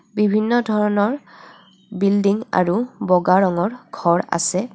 বিভিন্ন ধৰণৰ বিলডিঙ আৰু ব'গা ৰঙৰ ঘৰ আছে.